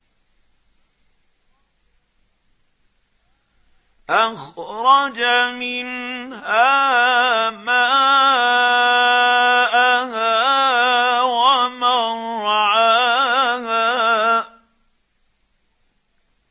أَخْرَجَ مِنْهَا مَاءَهَا وَمَرْعَاهَا